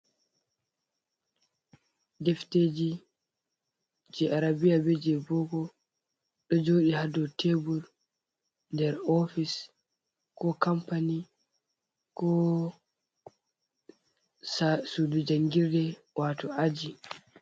Ɗefteji je arabia be je boko. Ɗo joɗi ha ɗow tebur ɗer ofis. Ko kampani, ko suɗu jangirɗe wato aji.